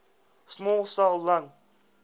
small cell lung